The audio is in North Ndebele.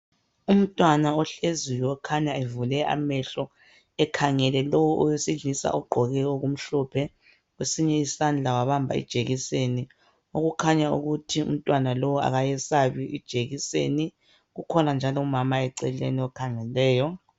Umtwana ohleziyo okhanya evule amehlo ekhangele lo owesilisa ogqoke okumhlophe kwesinye isandla wabamba ijekiseni okukhanya ukuthi umtwana lo akayesabi ijekiseni. Kukhona njalo umama eceleni okhangeleyo.